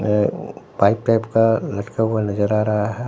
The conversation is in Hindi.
अह उ बाइक टाइप का लटका हुआ नजर आ रहा है।